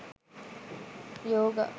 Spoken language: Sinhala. yoga